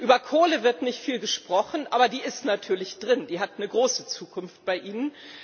Über Kohle wird nicht viel gesprochen, aber die ist natürlich drin, die hat eine große Zukunft bei Ihnen.